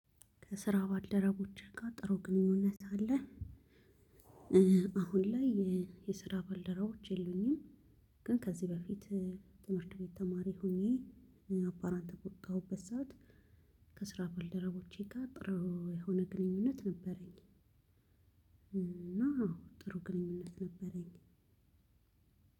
ከስራ ባልደረቦችህ ጋር ጥሩ ግንኙነት አለህ? አሁን ላይ የስራ ባልደረቦች የሉኝም። ግን ከዚህ በፊት ትምህርት ቤት ተማሪ ሆኜ አፓረንት በወጣሁበት ሰዓት ከስራ ባልደረቦቼ ጋር ጥሩ የሆነ ግንኙነት ነበረኝ። እና አዎ ጥሩ ግንኙነት። ነበረኝ